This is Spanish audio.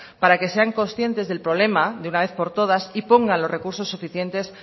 para que sean conscientes del problema de una vez por todas y pongan los recursos suficientes